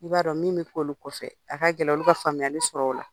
I b'a don min bɛ fɔ olu kɔfɛ a ka gɛlɛ olu ka faamuyali sɔrɔ o la.